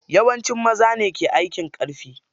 Yawanci maza ne ke aikin ƙarfi.